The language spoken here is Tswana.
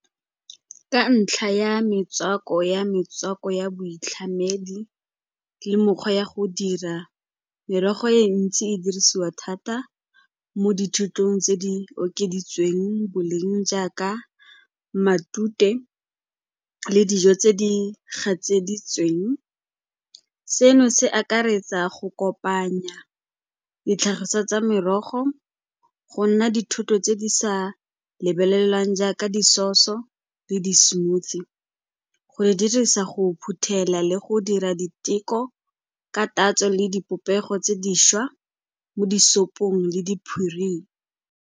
Ka ntlha ya metswako ya boitlhamedi le mekgwa ya go dira, merogo e ntsi e dirisiwa thata mo dithotong tse di okeditsweng boleng jaaka matute le dijo tse di gatseditsweng. Seno se akaretsa go kopanya ditlhagiswa tsa merogo go nna dithoto tse di sa lebelelwang jaaka di-sauce-o le di-smoothie, go e di dirisa go phuthela le go dira diteko ka tatso le dipopego tse dišwa mo disopong le di.